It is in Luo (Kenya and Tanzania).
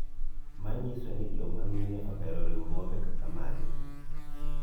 manyiso ni joma mine ohero riwruoge kaka magi